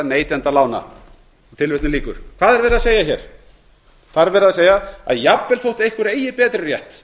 verið að segja hér það er verið að segja að jafnvel þótt einhver eigi betri rétt